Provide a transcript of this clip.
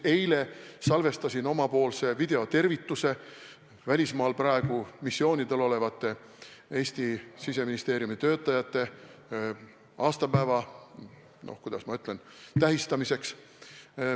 Eile salvestasin videotervituse välismaal missioonidel olevatele Eesti Siseministeeriumi töötajatele aastapäeva tähistamiseks.